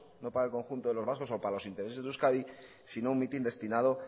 no para el conjunto de los vascos o para los intereses de euskadi sino un mitin destinado